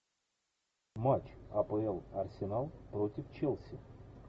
матч апл арсенал против челси